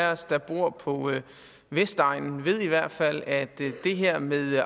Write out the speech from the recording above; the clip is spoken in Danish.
af os der bor på vestegnen ved i hvert fald at det her med